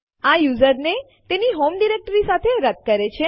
આ યુઝરને તેની હોમ ડિરેક્ટરી સાથે રદ કરે છે